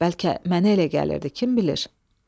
Bəlkə mənə elə gəlirdi, kim bilir?